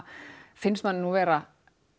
finnst manni nú vera